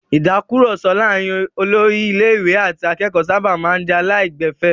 Ìtakùrọ̀sọ láàárin olórí ilé-ìwé àti akẹ́kọ̀ọ́ sábà máa ń jẹ́ aláìgbẹ̀fẹ̀.